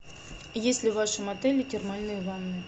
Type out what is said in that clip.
есть ли в вашем отеле термальные ванны